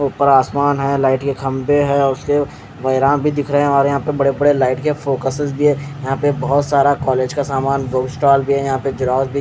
ऊपर आसमान है लाइट के खम्बे है और दिख रहे है और बड़े बड़े लाइट के फोकसेस भी है यहाँ पे बोहोत सारा कॉलेज का सामान बुक स्टॉल भी है यहाँ पे झेरोक्स --